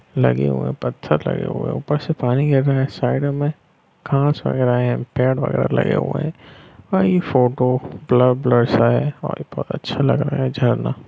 लगे हुए है पत्थर लगे हुए ऊपर से पानी गिर रहे है साइड में घास वगैरह है पेड़ वगैरह लगे हुए है और ये फोटो ब्लर - ब्लर सा है और ये बहुत अच्छा लग रहा है झरना।